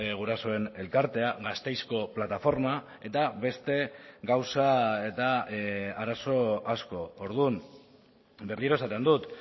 gurasoen elkartea gasteizko plataforma eta beste gauza eta arazo asko orduan berriro esaten dut